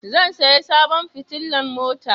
Zan saya sabon fitilan mota